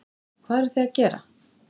Hvað eruð þið að gera?